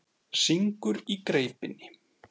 Syngur í greipinni.